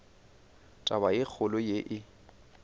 taba e kgolo ye e